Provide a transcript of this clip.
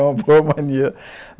É uma boa mania. (fala divertido)